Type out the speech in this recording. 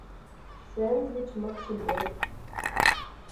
сэндвич максибон